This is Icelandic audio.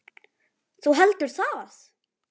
Þú heldur það?